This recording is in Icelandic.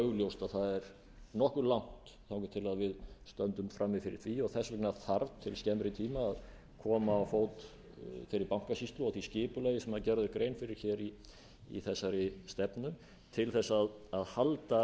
augljóst að það er nokkuð langt þangað til við stöndum frammi fyrir því og þess vegna þarf til skemmri tíma að koma á fót þeirri bankasýslu og því skipulagi sem gerð er grein fyrir hér í þessari stefnu til þess að halda